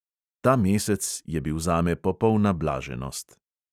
Ta mesec je bil zame popolna blaženost.